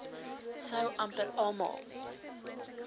sou amper almal